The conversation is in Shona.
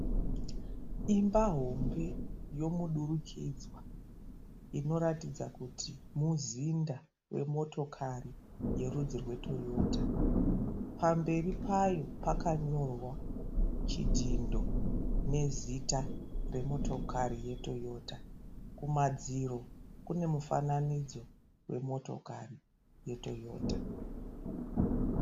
Imba hombe yomudurukidzwa inoratidza kuti muzinda wemotokari yerudzi rwe Toyota pamberi payo pakanyorwa chidhindo nezita remotokari ye Toyota kumadziro kune mufananidzo wemotokari ye Toyota.